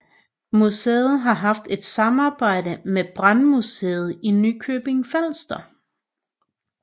Museet har haft et samarbejde med Brandmuseet i Nykøbing Falster